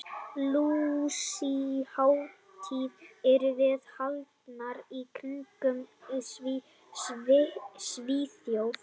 Lúsíuhátíðir eru víða haldnar í kirkjum í Svíþjóð.